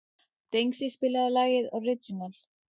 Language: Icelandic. Dengsi, spilaðu lagið „Orginal“.